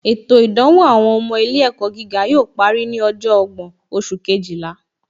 Ètò ìdánwò àwọn ọmọ ilé ẹ̀kọ́ gíga yóò parí ní ọjọ́ ọgbọ́n oṣù Kejìlá